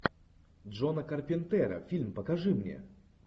джона карпентера фильм покажи мне